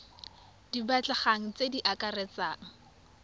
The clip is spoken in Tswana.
di batlegang tse di akaretsang